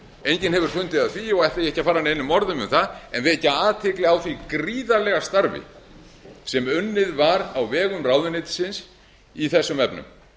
enginn hefur fundið að því og ætla ég ekki að fara neinum orðum um það en vekja athygli á því gríðarlega starfi sem unnið var á vegum ráðuneytisins í þessum efnum